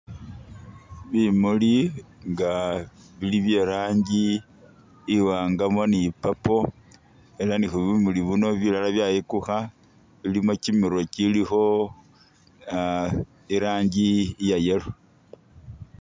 Bimuli nga bili bye i'rangi iwaangamo ni purple ela nga bumuli buno bilala byayikukha bilimo kimirwe kilikho i'rangi iya yellow.